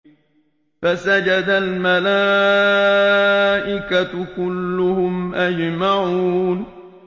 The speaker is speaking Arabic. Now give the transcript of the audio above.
فَسَجَدَ الْمَلَائِكَةُ كُلُّهُمْ أَجْمَعُونَ